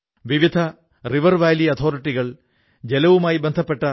അതിനുശേഷം രാജ്യത്തെ വലിയ വലിയ കമ്പനികൾക്ക് പെൻസിൽ സ്ലേറ്റ് വിതരണം ചെയ്യാനാരംഭിച്ചു